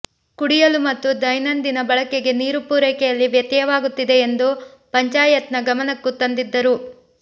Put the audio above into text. ಕುಡಿಯಲು ಮತ್ತು ದೈನಂದಿನ ಬಳಕೆಗೆ ನೀರು ಪೂರೈಕೆಯಲ್ಲಿ ವ್ಯತ್ಯಯವಾಗುತ್ತಿದೆ ಎಂದು ಪಂಚಾಯತ್ನ ಗಮನಕ್ಕೂ ತಂದಿ ದ್ದರು